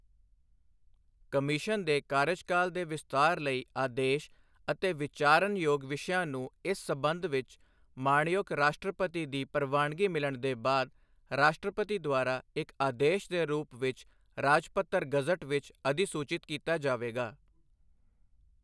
Commission ਦੇ ਕਾਰਜਕਾਲ ਦੇ ਵਿਸਤਾਰ ਲਈ ਆਦੇਸ਼ ਅਤੇ ਵਿਚਾਰਨਯੋਗ ਵਿਸ਼ਿਆਂ ਨੂੰ ਇਸ ਸਬੰਧ ਵਿੱਚ ਮਾਣਯੋਗ ਰਾਸ਼ਟਰਪਤੀ ਦੀ ਪ੍ਰਵਾਨਗੀ ਮਿਲਣ ਦੇ ਬਾਅਦ ਰਾਸ਼ਟਰਪਤੀ ਦੁਆਰਾ ਇੱਕ ਆਦੇਸ਼ ਦੇ ਰੂਪ ਵਿੱਚ ਰਾਜਪੱਤਰ ਗਜ਼ਟ ਵਿੱਚ ਅਧਿਸੂਚਿਤ ਕੀਤਾ ਜਾਵੇਗਾ।